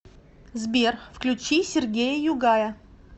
сбер включи сергея югая